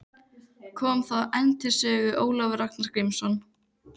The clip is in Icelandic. Kom þá enn til sögu Ólafur Ragnar Grímsson.